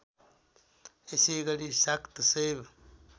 यसैगरी शाक्त शैव